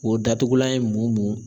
O datugulan ye mun